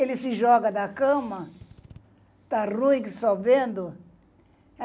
Ele se joga da cama, tá ruim que só vendo.